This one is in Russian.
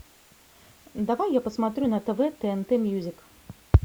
давай я посмотрю на тв тнт мьюзик